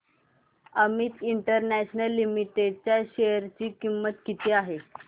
Amit international limited च्या share ची किंमत किती आहे